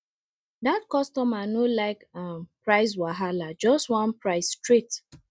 that customer no like um price wahala just one price straight